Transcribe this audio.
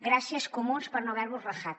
gràcies comuns per no haver vos rajat